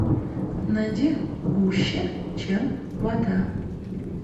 найди гуще чем вода